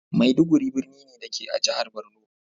Maiduguri birni ne, da ke a jihar Borno.